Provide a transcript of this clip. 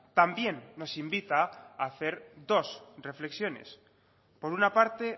también nos invita a hacer dos reflexiones por una parte